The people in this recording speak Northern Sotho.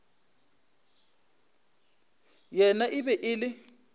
yena e be e le